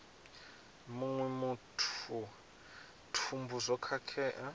muṅwe muthu thumbu zwo khakhea